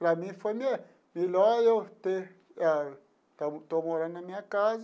Para mim foi me melhor eu ter... Ah estou morando na minha casa.